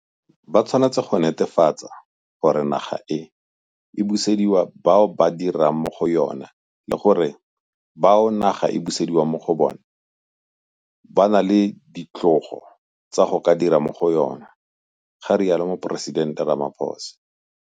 Ba tshwanetse go netefatsa gore naga e busediwa bao ba dirang mo go yona le gore bao naga e busediwang mo go bona ba na le ditlogo tsa go ka dira mo go yona, ga rialo Moporesitente Ramaphosa.